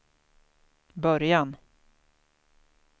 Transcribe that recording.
början